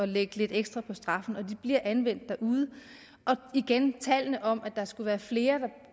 lægge lidt ekstra på straffen og de bliver anvendt derude igen tallene om at der skulle være flere der